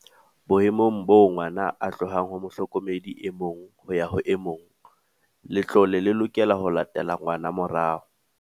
"Boemong boo ngwana a tlohang ho mohlokomedi e mong ho ya ho e mong, le tlole le lokela ho latela ngwana morao."